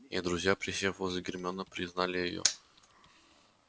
и друзья присев возле гермионы признали её